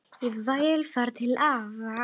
Ég vil fara til afa